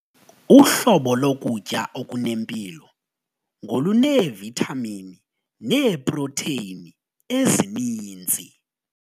Uhlobo lokutya okunempilo ngoluneevithamini neeprotheyini ezininzi.